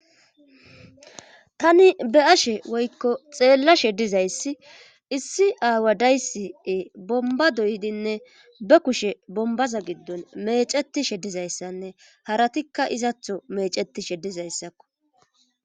tani be ashe woykko xeellashe dizayssi issi aawa daysii bomba doydinne be kushe bombaza giddon mecetishe dizayssanne haratikka izatho mecetishe dizayssakko